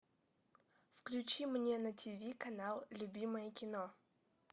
включи мне на тв канал любимое кино